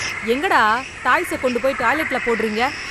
எங்கடா டாய்ஸ கொண்டுப் போய் டாய்லெட்ல போடுறீங்க?